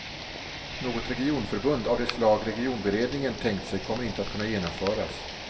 Något regionförbund av det slag regionberedningen tänkt sig kommer inte att kunna genomföras.